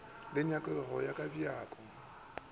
le nyakego ya ka bjako